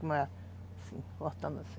Cortando assim.